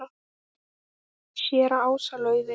Séra Ása Laufey.